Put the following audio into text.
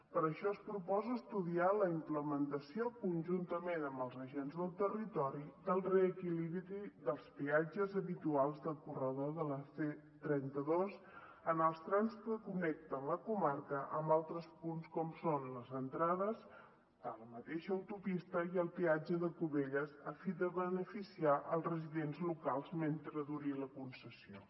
per això es proposa estudiar la implementació conjuntament amb els agents del territori del reequilibri dels peatges habituals del corredor de la c trenta dos en els trams que connecten la comarca amb altres punts com són les entrades a la mateixa autopista i al peatge de cubelles a fi de beneficiar els residents locals mentre duri la concessió